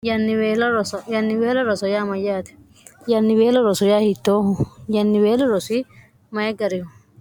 yannibeela roso yaa mayyaati yannibeela roso yaa hiittoohu yannibeela rosoi mayi garihu